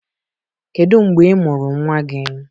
Kedu mgbe ị mụrụ nwa gị?